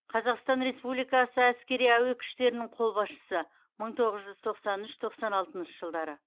қазақстан республикасы әскери әуе күштерінің қолбасшысы мың тоғыз жүз тоқсан үш тоқсан алтыншы жылдары